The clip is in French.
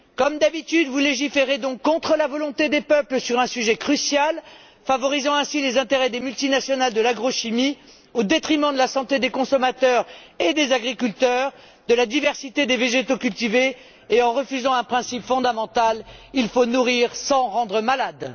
Comme d'habitude, vous légiférez donc contre la volonté des peuples sur un sujet crucial, favorisant ainsi les intérêts des multinationales de l'agrochimie au détriment de la santé des consommateurs et des agriculteurs, de la diversité des végétaux cultivés et en refusant un principe fondamental il faut nourrir sans rendre malade.